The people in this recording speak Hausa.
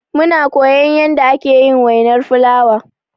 Muna koyan yanda ake yin wainar fulawa.